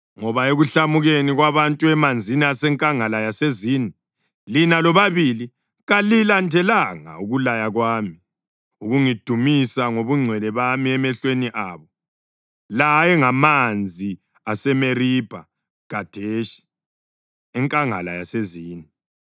ngoba ekuhlamukeni kwabantu emanzini asenkangala yaseZini, lina lobabili kalilandelanga ukulaya kwami, ukungidumisa ngobungcwele bami emehlweni abo.” (La ayengamanzi aseMeribha Khadeshi, enkangala yaseZini.)